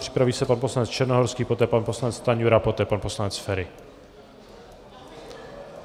Připraví se pan poslanec Černohorský, poté pan poslanec Stanjura, poté pan poslanec Feri.